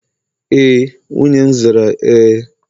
e, nwunye m zara Ee.